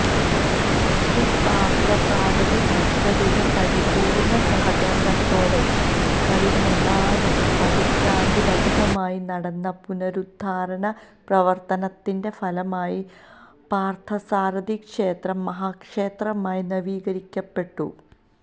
ശ്രീപാര്ത്ഥസാരഥി ഭക്തരുടെ പരിപൂര്ണ സഹകരണത്തോടെ കഴിഞ്ഞ നാല് പതിറ്റാണ്ടിലധികമായി നടന്ന പുനരുദ്ധാരണ പ്രവര്ത്തനത്തിന്റെ ഫലമായി പാര്ത്ഥസാരഥി ക്ഷേത്രം മഹാക്ഷേത്രമായി നവീകരിക്കപ്പെട്ടു